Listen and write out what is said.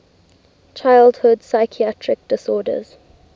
childhood psychiatric disorders